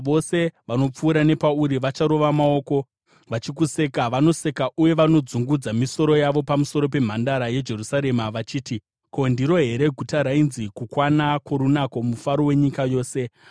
Vose vanopfuura nepauri vacharova maoko vachikuseka; vanoseka uye vanodzungudza misoro yavo pamusoro peMhandara yeJerusarema vachiti: “Ko, ndiro here guta rainzi kukwana kworunako, mufaro wenyika yose?”